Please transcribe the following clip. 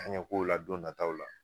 An ye kow la don nataw la